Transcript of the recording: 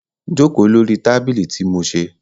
Joko lori tabili ti mo ṣe